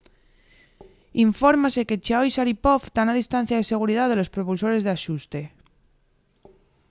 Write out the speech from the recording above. infórmase que chiao y sharipov tán a distancia de seguridá de los propulsores d’axuste